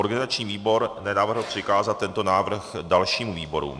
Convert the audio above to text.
Organizační výbor nenavrhl přikázat tento návrh dalším výborům.